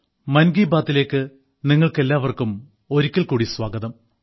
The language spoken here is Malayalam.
മൻ കി ബാത്തിലേക്ക് നിങ്ങൾക്കെല്ലാവർക്കും ഒരിക്കൽ കൂടി സ്വാഗതം